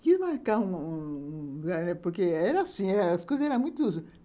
Queria marcar um um um lugar, porque era assim, as coisas eram muito